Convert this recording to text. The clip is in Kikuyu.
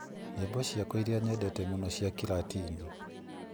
Nyĩmbo ciakwa irĩa nyendete mũno cia Kĩlatini